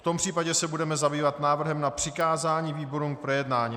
V tom případě se budeme zabývat návrhem na přikázání výborům k projednání.